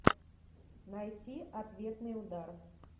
найти ответный удар